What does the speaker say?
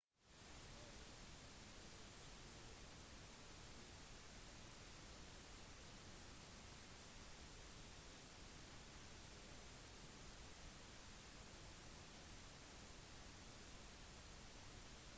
så hvis du sto ved vannkanten ville du kunne se ned til hva det måttevære av småstein eller gjørme som lå på bunnen